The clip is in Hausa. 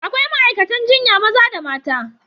Akwai ma'aikatan jinya maza da mata.